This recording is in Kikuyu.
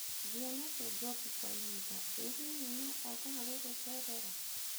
Ndionete Njoki kwa ihinda, ĩ hihi no ookaga gũgũcerera?